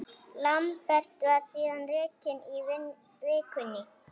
Lambert var síðan rekinn í vikunni.